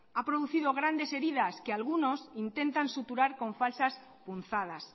ha producido grandes heridas que algunos intentan suturar con falsas punzadas